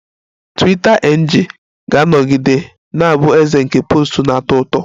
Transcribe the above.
Twiita NG ga-anọgide na-abụ eze nke posts na-atọ ụtọ